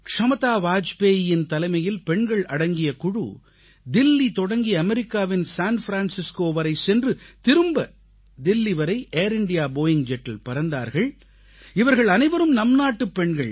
க்ஷமதா வாஜ்பேயியின் தலைமையில் பெண்கள் அடங்கிய குழு தில்லி தொடங்கி அமெரிக்காவின் சான் பிரான்சிஸ்கோ வரை சென்று திரும்ப தில்லி வரை ஏர் இந்தியா போயிங் ஜெட்டில் பறந்தார்கள் இவர்கள் அனைவரும் நம்நாட்டுப் பெண்கள்